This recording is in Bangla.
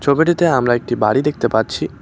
ছবিটিতে আমরা একটি বাড়ি দেখতে পাচ্ছি।